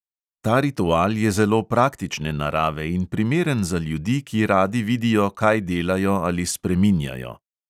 Ta ritual je zelo praktične narave in primeren za ljudi, ki radi vidijo, kaj delajo ali spreminjajo.